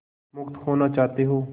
मुक्त होना चाहते हो